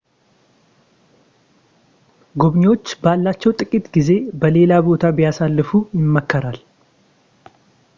ጎብኚዎች ባላቸው ጥቂት ጊዜ በሌላ ቦታ ቢያሳልፉ ይመከራል